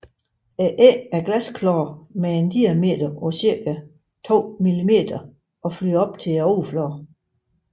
Æggene er glasklare med en diameter på cirka 2 millimeter og flyder op til overfladen